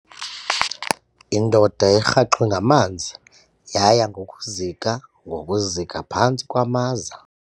Indoda erhaxwe ngamanzi yaya ngokuzika ngokuzika phantsi kwamaza.